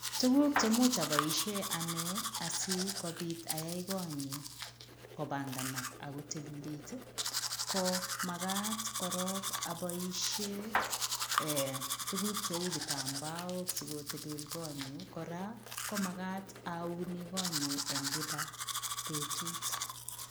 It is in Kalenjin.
Tuguuk chemuuch aboisie ane asikobiit ayai koot kopanganaak ako tililit ko magaat korong aboisie tuguuk che kitambaok sikotililit koot kora komagaat auni koot en kila betut.